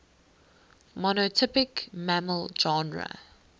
monotypic mammal genera